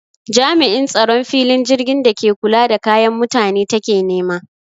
Jam'in tsaron filin jirgin da ke kula da kayan mutane take nema